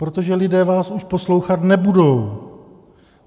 Protože lidé vás už poslouchat nebudou!